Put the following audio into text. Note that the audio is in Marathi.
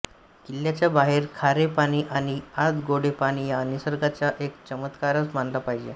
किल्ल्याच्या बाहेर खारे पाणी आणि आत गोडे पाणी हा निसर्गाचा एक चमत्कारच मानला पाहिजे